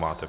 Máte.